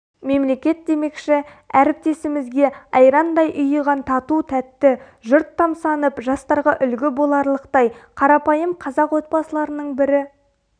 мемлекет демекші әріптесімізге айрандай ұйыған тату-тәтті жұрт тамсанып жастарға үлгі боларлықтай қарапайым қазақ отбасыларының бірі